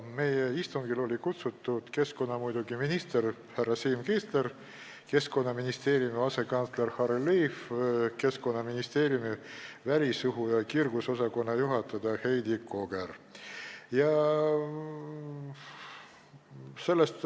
Meie istungile olid kutsutud muidugi keskkonnaminister härra Siim Kiisler, Keskkonnaministeeriumi asekantsler Harry Liiv ning Keskkonnaministeeriumi välisõhu ja kiirgusosakonna juhataja Heidi Koger.